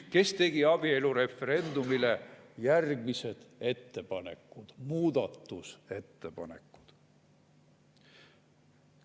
Kes tegi abielureferendumi kohta järgmised ettepanekud, muudatusettepanekud?